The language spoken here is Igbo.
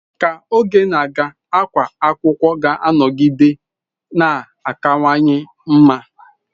Ka oge na-aga, àgwà akwụkwọ ga-anọgide na-akawanye mma.